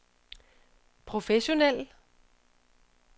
professionel